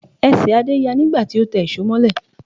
Ẹsẹ̀ Adé ya nígbà tí ó tẹ ìṣó mọ́lẹ̀